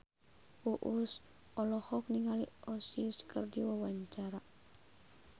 Uus olohok ningali Oasis keur diwawancara